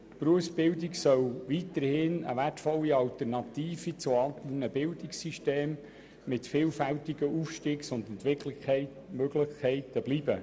Die Berufsbildung soll weiterhin eine wertvolle Alternative zur gymnasialen Bildung mit vielfältigen Aufstiegs- und Entwicklungsmöglichkeiten bleiben.